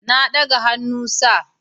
Na daga hannu Sir